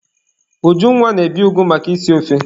Ujunwa na-ebi ụgụ maka isi ofe.